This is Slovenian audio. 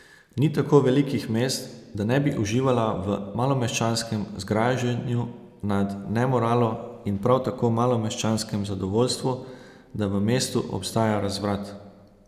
Ni tako velikih mest, da ne bi uživala v malomeščanskem zgražanju nad nemoralo in prav tako malomeščanskem zadovoljstvu, da v mestu obstaja razvrat.